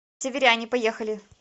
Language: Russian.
северяне поехали